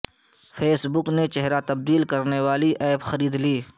face بک نے چہر ہ تبدیل کرنے والی ایپ خرید لی